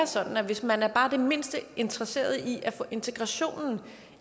sådan at hvis man er bare det mindste interesseret i at få integrationen